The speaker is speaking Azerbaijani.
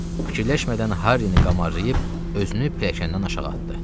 Fikirləşmədən Harrini qamarlayıb özünü pilləkəndən aşağı atdı.